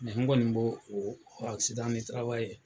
Degun kɔni b'o o